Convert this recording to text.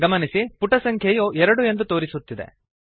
ಗಮನಿಸಿ ಪುಟ ಸಂಖ್ಯೆಯು 2 ಎಂದು ತೋರಿಸುತ್ತಿದೆ